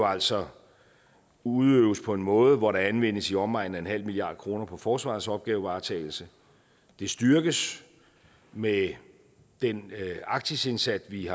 altså udøves på en måde hvor der anvendes i omegnen af nul milliard kroner på forsvarets opgavevaretagelse det styrkes med den arktisindsats vi